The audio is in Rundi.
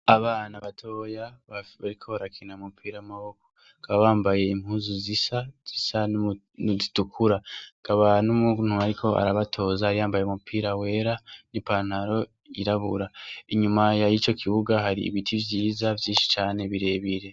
Abana batoya bakaba bariko barakina umupira w'amaboko bakaba bambaye impuzu zisa zisa nizitukura hakaba n'umuntu ariko arabatoza yambaye umupira wera n'ipantaro yirabura inyuma yico kibuga hari ibiti vyiza vyishi cane birebire.